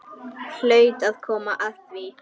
Hlaut að koma að því.